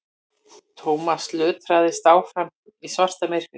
Thomas lötraði áfram í svartamyrkri.